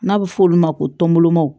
N'a bɛ f'olu ma ko